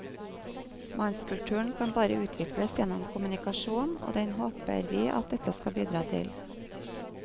Mannskulturen kan bare utvikles gjennom kommunikasjon og den håper vi at dette skal bidra til.